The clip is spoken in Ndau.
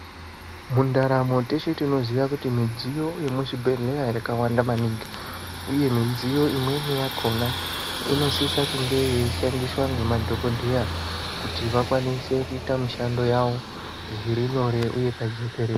Mundaramo teshe tinoziya kuti midziyo yemuzvibhedhleya yakawanda maningi, uye midziyo imweni yakona inosise kunge yeishandiswa ngemadhogodheya. Kuti vakwanise kuita mishando yavo zviri nyore uye pajekerere.